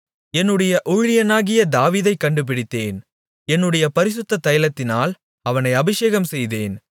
என்னுடைய ஊழியனாகிய தாவீதைக் கண்டுபிடித்தேன் என்னுடைய பரிசுத்த தைலத்தினால் அவனை அபிஷேகம் செய்தேன்